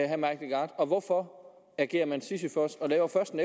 herre mike legarth og hvorfor agerer man sisyfos og laver først en